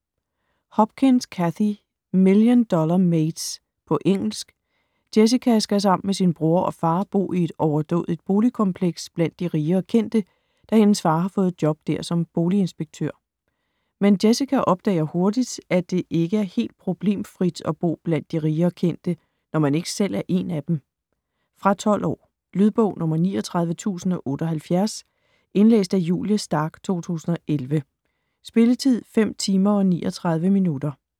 Hopkins, Cathy: Million dollar mates På engelsk. Jessica skal sammen med sin bror og far bo i et overdådigt boligkompleks blandt de rige og kendte, da hendes far har fået job der som boliginspektør. Men Jessica opdager hurtigt, at det ikke er helt problemfrit at bo blandt de rige og kendte, når man ikke selv er en af dem. Fra 12 år. Lydbog 39078 Indlæst af Julie Stark, 2011. Spilletid: 5 timer, 39 minutter.